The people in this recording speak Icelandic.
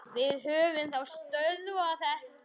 Við höfum þá stöðvað þetta.